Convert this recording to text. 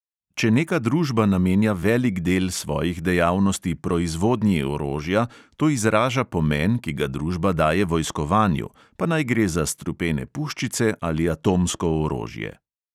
Če neka družba namenja velik del svojih dejavnosti proizvodnji orožja, to izraža pomen, ki ga družba daje vojskovanju, pa naj gre za strupene puščice ali atomsko orožje.